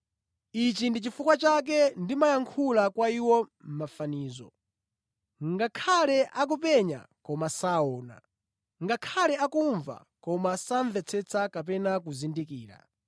Ichi ndi chifukwa chake ndimayankhula kwa iwo mʼmafanizo: “Ngakhale akupenya koma saona, ngakhale akumva koma samvetsetsa kapena kuzindikira.